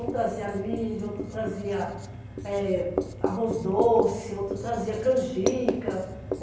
Um trazia milho, outro trazia eh arroz doce, outro trazia canjica.